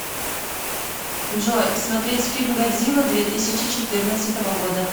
джой смотреть фильм годзилла две тысячи четырнадцатого года